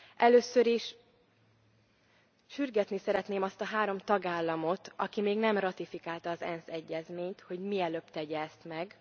Először is sürgetni szeretném azt a három tagállamot, aki még nem ratifikálta az ENSZ egyezményt, hogy mielőbb tegye ezt meg.